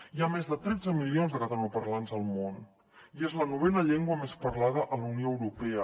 hi ha més de tretze milions de catalanoparlants al món i és la novena llengua més parlada a la unió europea